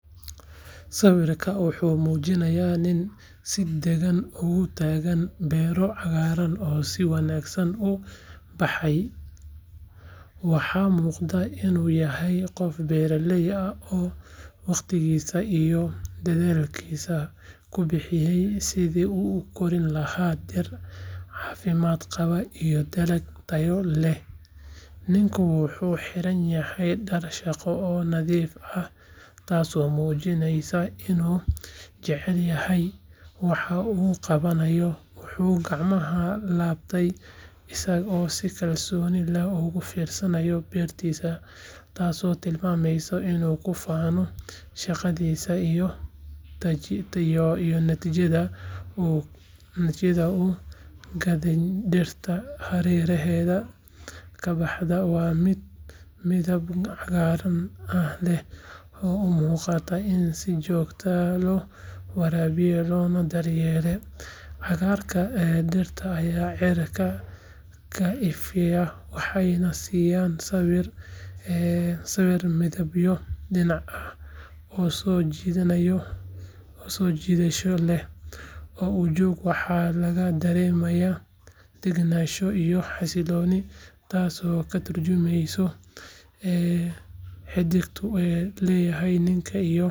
Sawirkan wuxuu mujinaya nin si dagan ugu tagan beero cagaran oo si wanagsan u baxay, waxaa muqda in u yaho beera ley waqtigisa idhelkisa kubixiye sitha u ukorin laha dir cafimaad qawa iyo dalag tayo leh, ninku wuxuu xiran yahay tas oo mujinaya in u jecelyahay, wuxuu gacmaha labte isaga oo si kalsoni ugu fanaya, waa miid midab cagaran leh, cagarka dirta aya cirka ka ifiya, waxa laga daremaya tas oo ka turjumeysa ee xidigtu u niku leyahay.